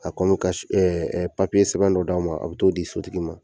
A kɔni ka s sɛbɛn dɔ d'aw ma, a be t'o di sotigi ma.